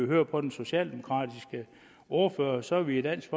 høre på den socialdemokratiske ordfører så er vi i dansk